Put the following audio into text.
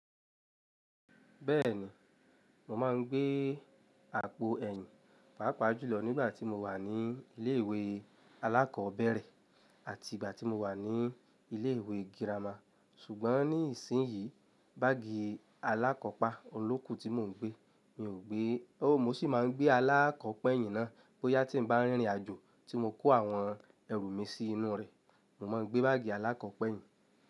Bẹ́ẹ̀ni, mo máa ń gbé àpò ẹ̀yìn pàápàá jùlọ nígbà tí mo wà ní ilé ìwé alákọ̀ọ́bẹ̀rẹ̀ àti ìgbà tí mo wà ní ilé ìwé girama. Ṣùgbọ́n ní ìsìnyí báágì alákọ̀ọ́pa olókù tí mò ń gbé, mi ò gbé ó. Mo sì máa ń gbé alákọ̀ọ́ pẹ̀yìn náà bóyá tí mo bá rìnrìn àjò tí mo kó àwọn ẹrù mi sí inú rẹ̀. Mo ma ń gbé báágì alákọ̀ọ́ pẹ̀yìn.